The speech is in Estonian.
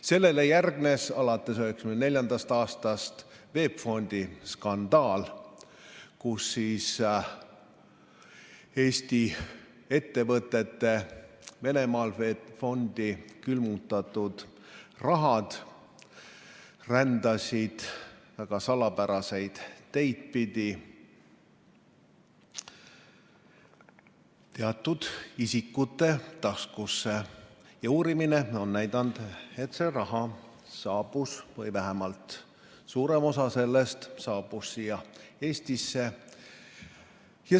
Sellele järgnes 1994. aastal puhkenud VEB Fondi skandaal, kus Eesti ettevõtete Venemaal VEB Fondi külmutatud raha rändas väga salapäraseid teid pidi teatud isikute taskusse ja uurimine on näidanud, et see raha või vähemalt suurem osa sellest saabus siia Eestisse.